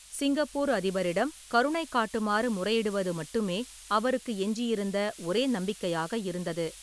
Singapore அதிபரிடம் கருணை காட்டுமாறு முறையிடுவது மட்டுமே அவருக்கு எஞ்சியிருந்த ஒரே நம்பிக்கையாக இருந்தது.